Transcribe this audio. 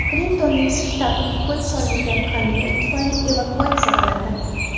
Klintonning shtabi kukun solingan konvert tufayli evakuatsiya qilindi.